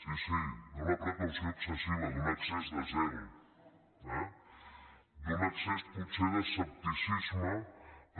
sí sí d’una precaució excessiva d’un excés de zel eh d’un excés potser d’escepticisme